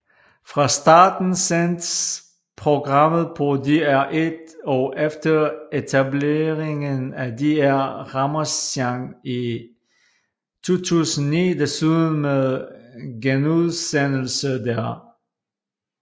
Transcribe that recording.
Fra starten sendtes programmet på DR1 og efter etableringen af DR Ramasjang i 2009 desuden med genudsendelser der